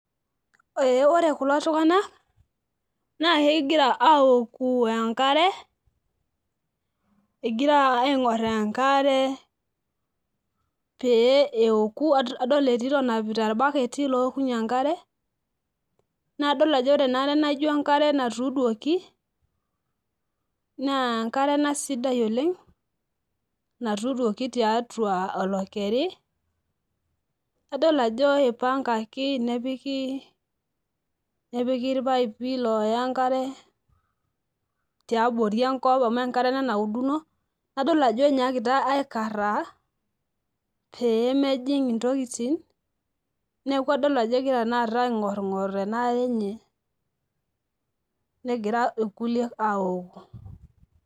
ee ore kulo tungana naa kegira aoku enkare, egira aiing'or enkare, pee eoku. adol entito enapita irbaketi lookunye enkare. nadol ajo ore ena are naijo enkare natuudouki, naa enkare ena sidai oleng natuuduoki tiatua olakeri, nadol ajo ipangaki, nepiki irpaipi looya enkare tiabori enkop, amu enkare ena nauduno, nadol ajo enyaakita aikaraa, pee emjing ntokitin. neeku adol ajo egira tenakata aing'oring; or ena are enye negira irkuliek aoku.